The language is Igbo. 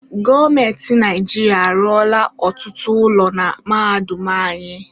Gọọmenti Naịjirịa arụọla ọtụtụ ụlọ na mahadum anyị.